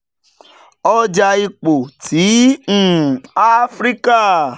ọja ipo ti um afirika